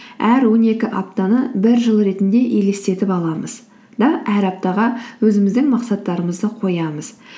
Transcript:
әр он екі аптаны бір жыл ретінде елестетіп аламыз да әр аптаға өзіміздің мақсаттарымызды қоямыз